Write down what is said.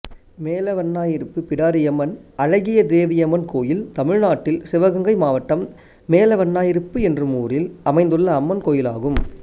மேலவண்ணாயிருப்பு பிடாரியம்மன் அழகிய தேவியம்மன் கோயில் தமிழ்நாட்டில் சிவகங்கை மாவட்டம் மேலவண்ணாயிருப்பு என்னும் ஊரில் அமைந்துள்ள அம்மன் கோயிலாகும்